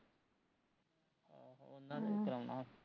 ਉਹਨਾ ਦੇ ਕਰਾਉਣਾ ਅਹ